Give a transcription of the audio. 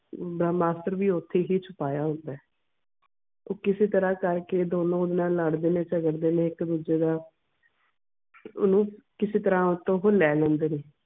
ਬ੍ਰਹਮਸਤਰ ਵੀ ਓਥੇ ਹੀ ਛੁਪਾਇਆ ਹੁੰਦਾ ਐ ਉਹ ਕਿਸੇ ਤਰ੍ਹਾਂ ਕਰਕੇ ਦੋਨੋ ਓਹਦੇ ਨਾਲ ਲੜ ਦੇ ਨੇ ਝਗੜ ਦੇ ਨੇ ਇੱਕ ਦੂੱਜੇ ਨਾਲ ਓਹਨੂੰ ਕਿਸੇ ਤਰਾਹ ਓਹਤੋਂ ਉਹ ਲੈ ਲੈਂਦੇ ਨੇ